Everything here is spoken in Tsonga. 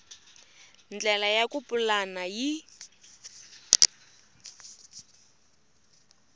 ndlela ya ku pulana yi